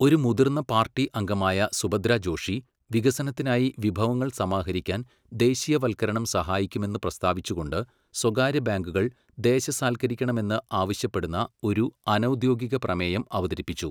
ഒരു മുതിർന്ന പാർട്ടി അംഗമായ സുഭദ്രാ ജോഷി, വികസനത്തിനായി വിഭവങ്ങൾ സമാഹരിക്കാൻ ദേശീയവൽക്കരണം സഹായിക്കുമെന്ന് പ്രസ്താവിച്ചുകൊണ്ട് സ്വകാര്യബാങ്കുകൾ ദേശസാൽക്കരിക്കണമെന്ന് ആവശ്യപ്പെടുന്ന ഒരു അനൗദ്യോഗികപ്രമേയം അവതരിപ്പിച്ചു.